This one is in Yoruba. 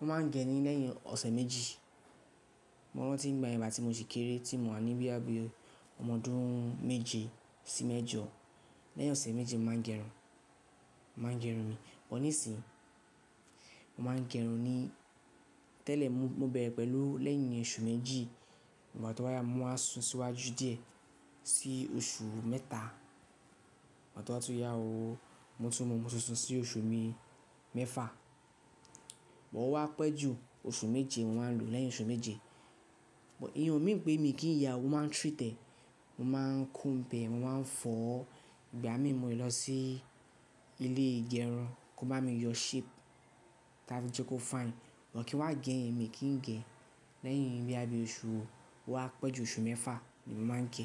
mo máa ń gẹ ní lẹ́yìn ọ̀sẹ̀ méjì. Mo rántí ìgbàyen ìgbà tí mo sì kéré tí mo wà ní boya bii ọmọ odun méje sí mẹ́jọ, lẹ́yìn ọ̀sẹ̀ méjì mo máa ń gẹ irun, máa ń gẹ irun mi. Nisin, mo máa ń gẹ irun ni, tẹ́lẹ̀ mo bẹ̀rẹ̀ pẹ̀lú lẹ́yìn oṣù méjì, ìgbà tó bá yá mo waa sún síwájú díẹ̀ sí oṣù mẹ́ta. Ìgbà tó bá tún yá o, mo tún mo tun sun sí oṣù bi mẹ́fà. Sugbon o wá pẹ́ jù oṣù méje, mo máa ń lo lẹ́yìn oṣù méje. Ìyẹn o mean pé mi kì í yá o, mo máa ń treat ẹ̀, mo máa ń comb e, mo máa ń fọ̀. Ìgbà mi mo le lọ sí ilé ìgẹrun kó bá mi yọ shape tábí jẹ́ kó fine. But kín wá gẹ yen, mi kì n gẹ. Lẹ́yìn bí i oṣù ó wá pẹ́ jù oṣù mẹ́fà ni mo máa ń gẹ.